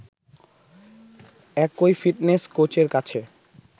একই ফিটনেস কোচের কাছে